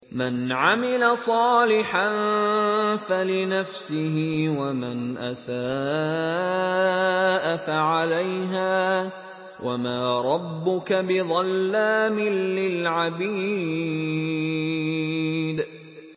مَّنْ عَمِلَ صَالِحًا فَلِنَفْسِهِ ۖ وَمَنْ أَسَاءَ فَعَلَيْهَا ۗ وَمَا رَبُّكَ بِظَلَّامٍ لِّلْعَبِيدِ